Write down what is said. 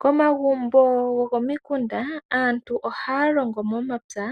Komagumbo gokomikunda, aantu ohaya longo momapya